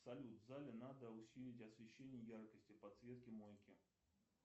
салют в зале надо усилить освещение яркости подсветки мойки